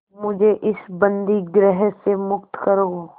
मुझे इस बंदीगृह से मुक्त करो